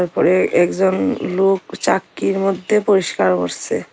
উপরে একজন লোক চাক্কির মধ্যে পরিস্কার করসে।